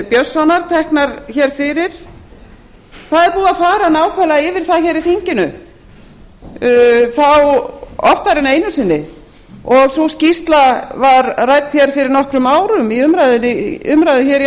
björnssonar teknar hér fyrir það er búið að fara nákvæmlega yfir það hér í þinginu þá oftar en einu sinni sú skýrsla var rædd hér fyrir nokkrum árum í umræðu hér í